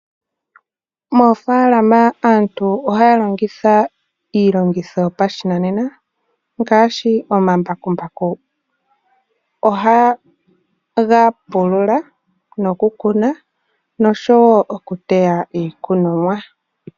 Moofaalama aantu ohaa longitha iilongitho yopashinanena ngaashi omambakumbaku .Oha ga pulula noku kuna nosho woo okuteya iikunomwa.